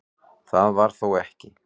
Það var þó ekki